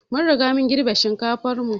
Mun Riga mun girbi shinkafan mu.